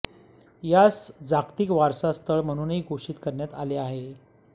यास जागतिक वारसा स्थळ म्हणूनही घोषित करण्यात आले आहे